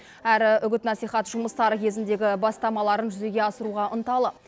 әрі үгіт насихат жұмыстары кезіндегі бастамаларын жүзеге асыруға ынталы